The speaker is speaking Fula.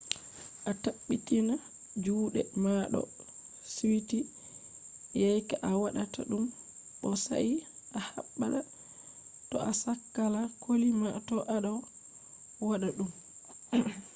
a tabbitina juuɗe ma ɗo suiti yake a waɗata ɗum bo sai a habda to a sakla koli ma to a ɗo waɗa ɗum